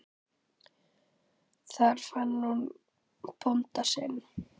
Þar fann hún bónda sinn.